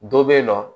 Dɔ bɛ yen nɔ